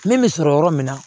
Min bɛ sɔrɔ yɔrɔ min na